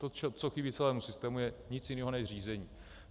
To, co chybí celému systému, je nic jiného než řízení.